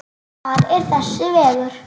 Hvar er þessi vegur?